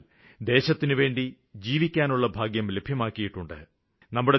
എന്നാല് ദേശത്തിനുവേണ്ടി ജീവിക്കാനുള്ള ഭാഗ്യം ലഭ്യമാക്കിയിട്ടുണ്ട്